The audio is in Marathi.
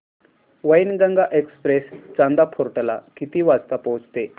वैनगंगा एक्सप्रेस चांदा फोर्ट ला किती वाजता पोहचते